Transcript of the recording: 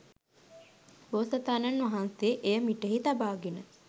බෝසතාණන් වහන්සේ එය මිටෙහි තබාගෙන